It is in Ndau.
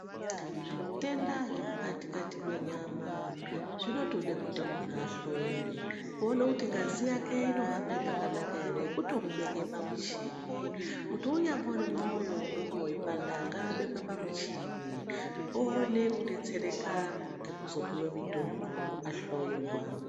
Zvitenda zvemukati kati mwenyama zvinotode kuti munhu ahloyiwe, kuone kuti ngazi yake inohambe zvakanaka ere kutomubeke pamuchini. Kuti unyambori mwoyo unonga uchipanda ngaabekwe pamuchini, oone kudetsereka ngekuzopiwe mutombo ahloyiwa.